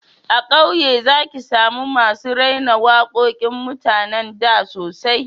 A kauye za ki samu masu raira waƙoƙin mutanen da sosai